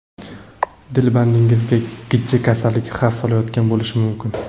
Dilbandingizga gijja kasalligi xavf solayotgan bo‘lishi mumkin.